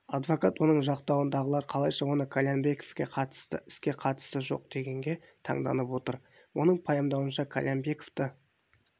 адвокат оның жақтауындағылар қалайша осы қальянбековке қатысты іске қатысы жоқ дегенге таңданып отыр оның пайымдауынша қальянбековты